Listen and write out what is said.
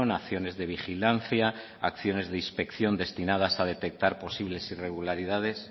acciones de vigilancia acciones de inspección destinadas a detectar posibles irregularidades